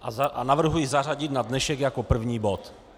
A navrhuji zařadit na dnešek jako první bod.